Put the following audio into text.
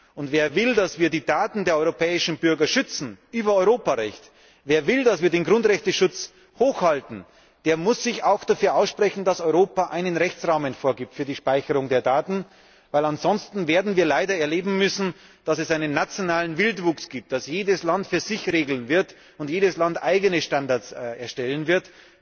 Und wer will, dass wir die Daten der europäischen Bürger über Europarecht schützen, wer will, dass wir den Schutz der Grundrechte hochhalten, der muss sich auch dafür aussprechen, dass Europa einen Rechtsrahmen für die Speicherung der Daten vorgibt. Denn ansonsten werden wir leider erleben müssen, dass es einen nationalen Wildwuchs gibt, dass jedes Land diese Frage für sich regeln wird und jedes Land eigene Standards erstellen wird.